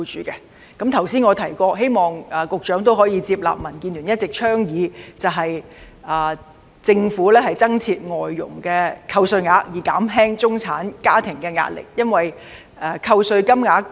我剛才提到，希望局長可以接納民建聯一直的倡議，增設外傭扣稅額以減輕中產家庭的壓力。